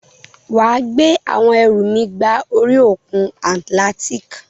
Wà á gbé àwọn ẹrù mi gba orí òkun Atlantic.